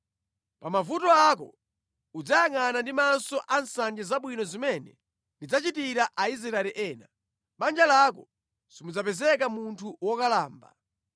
Pa mavuto ako udzayangʼana ndi maso ansanje zabwino zimene ndidzachitira Aisraeli ena. Mʼbanja lako simudzapezeka munthu wokalamba.